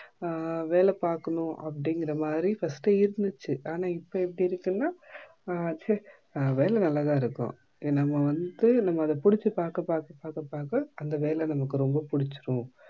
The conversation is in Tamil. ஆஹ் வேலை பாக்குனும் அப்பிடிக்குற மாதிரி first இருந்துச்சு ஆனா இப்போ எப்படி இருக்குன்னா ஆஹ் செ வேல நல்லதா இருக்கும் நம்ப வந்து நமக்கு நம்ப புடிச்சி பாக்க பாக்க அந்த வேல நம்மக்கு ரொம்ப புடிச்சிடும்